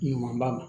Ɲuman ba